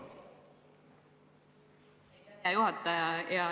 Hea juhataja!